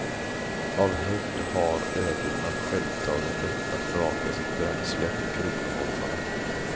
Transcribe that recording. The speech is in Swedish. Av hävd har öborna självtagen rätt att vraka sitt bränsle på kronoholmarna.